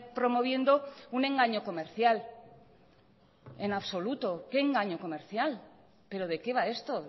promoviendo un engaño comercial en absoluto qué engaño comercial pero de qué va esto